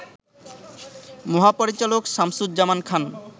মহাপরিচালক শামসুজ্জামান খান